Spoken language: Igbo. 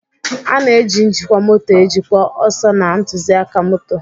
A na-eji njikwa moto ejikwa ọsọ na ntụzịaka moto.